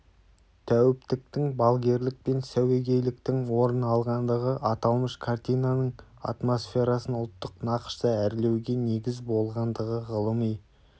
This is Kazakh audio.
тәуіптіктің балгерлік пен сәуегейліктің орын алғандығы аталмыш картинаның атмосферасын ұлттық нақышта әрлеуге негіз болғандығы ғылыми